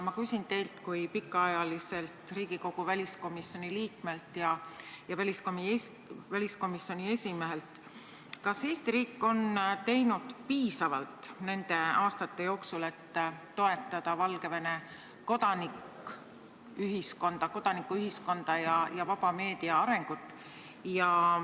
Ma küsin teilt kui pikaajaliselt Riigikogu väliskomisjoni liikmelt ja väliskomisjoni esimehelt, kas Eesti riik on teinud nende aastate jooksul piisavalt, et toetada Valgevene kodanikuühiskonda ja vaba meedia arengut.